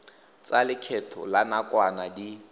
tsa lekgetho la nakwana di